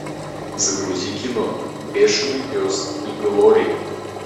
загрузи кино бешеный пес и глори